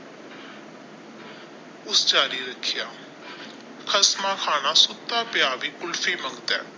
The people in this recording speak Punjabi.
ਉਸ ਰੱਖਿਆ ਖ਼ਸਮਾਂ ਖਾਨਾ ਸੋਤਾ ਪਈਆਂ ਵੀ ਕੁਲਫੀ ਮੰਗਦਾ ਹੈ।